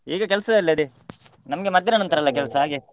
ಈಗ ಕೆಲ್ಸದಲ್ಲಿ ಅದೇ ನಮಗೆ ಮಧ್ಯಾಹ್ನ ನಂತರ ಅಲ್ಲ ಕೆಲಸ ಹಾಗೆ.